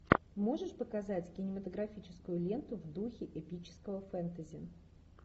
можешь показать кинематографическую ленту в духе эпического фэнтези